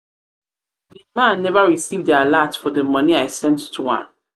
the the man never receive the alert for um the um money i sent um to am.